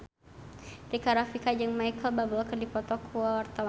Rika Rafika jeung Micheal Bubble keur dipoto ku wartawan